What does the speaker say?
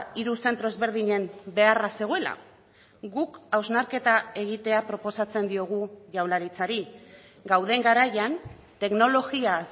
hiru zentro ezberdinen beharra zegoela guk hausnarketa egitea proposatzen diogu jaurlaritzari gauden garaian teknologia